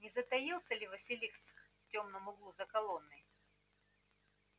не затаился ли василиск в тёмном углу за колонной